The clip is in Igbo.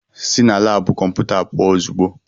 Sị na laabụ kọmputa pụọ ozugbo!